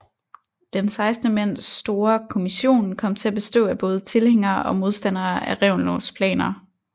Den 16 mand store kommission kom til at bestå af både tilhængere og modstandere af Reventlows planer